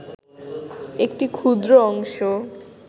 একটি ক্ষুদ্র অংশ